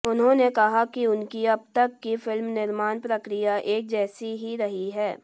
उन्होंने कहा कि उनकी अब तक की फिल्म निर्माण प्रक्रिया एक जैसी ही रही है